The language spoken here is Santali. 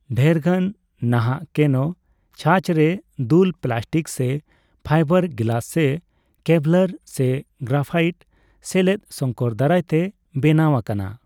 ᱰᱷᱮᱨᱜᱟᱱ ᱱᱟᱦᱟᱜ ᱠᱮᱱᱳ ᱪᱷᱟᱸᱪ ᱨᱮ ᱫᱩᱞ ᱯᱮᱞᱟᱥᱴᱤᱠ ᱥᱮ ᱯᱷᱟᱭᱵᱟᱨ ᱜᱮᱞᱟᱥ ᱥᱮ ᱠᱮᱵᱷᱞᱟᱨ ᱥᱮ ᱜᱨᱟᱯᱷᱟᱭᱤᱴ ᱥᱮᱞᱮᱫ ᱥᱚᱝᱠᱚᱨ ᱫᱟᱨᱟᱭ ᱛᱮ ᱵᱮᱱᱟᱣ ᱟᱠᱟᱱᱟ ᱾